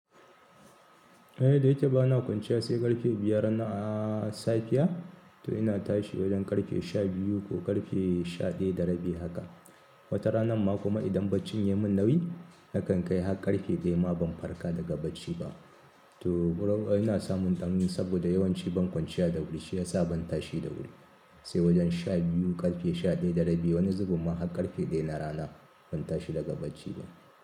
Eh, da yake bana kwanciya sai ƙafe biyar na safiya, toh ina tashi wajen ƙarfe sha biyu ko ƙarfe sha ɗaya da rabi haka, wata ranar ma idan barcin ya mun nauyi nakan kai har ƙarfe ɗaya ma ban farka daga barci ba toh ina samun ɗan saboda yawanci ban kwanciya da wuri, shi ya sa ban tashi da wuri. Sai wajen sha biyu ƙarfe sha ɗaya da rabi wani zubun ma har ƙarfe ɗaya na rana ban tashi daga barci ba.